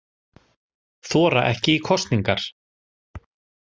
Þora ekki í kosningar